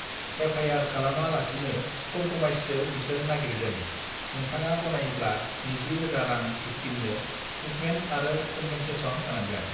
F I R खालामा लासिनो कमप्रमाइसो बिसोर नागिरदों नोंथाङा गनायोब्ला नैजि रोजा रां भिक्तिमनो थ्रिथमेन्थ आरो कमपेनसेसन होनांगोन